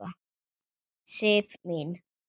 Sif mín!